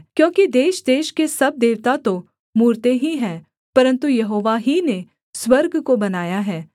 क्योंकि देशदेश के सब देवता तो मूरतें ही हैं परन्तु यहोवा ही ने स्वर्ग को बनाया है